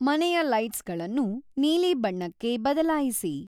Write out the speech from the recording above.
ಮನೆಯ ಲೈಟ್ಸ್ಗಳನ್ನು ನೀಲಿ ಬಣ್ಣಕ್ಕೆ ಬದಲಾಯಿಸಿ